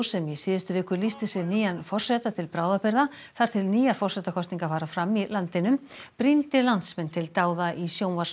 sem í síðustu viku lýsti sig nýjan forseta til bráðabirgða þar til nýjar forsetakosningar fara fram í landinu brýndi landsmenn til dáða í